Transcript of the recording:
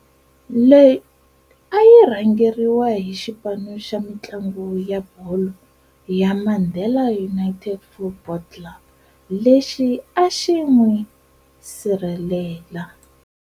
Leyi a yi rhangeirwa hi xipanu xa mintlangu ya bholo ya"Mandela United Football Club", lexi a xin'wisirhelela.